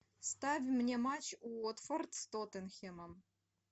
ставь мне матч уотфорд с тоттенхэмом